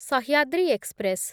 Sahyadri express